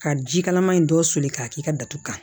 Ka jikalaman in dɔ soli k'a k'i ka datugu kan